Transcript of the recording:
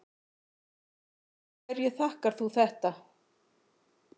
Hverju þakkar þú þetta?